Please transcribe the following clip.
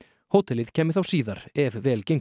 hótelið kæmi þá síðar ef vel gengur